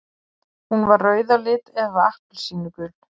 Hún var rauð á lit eða appelsínugul.